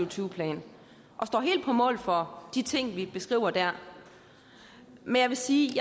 og tyve plan og står helt på mål for de ting vi beskriver der men jeg vil sige